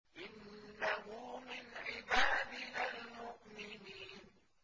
إِنَّهُ مِنْ عِبَادِنَا الْمُؤْمِنِينَ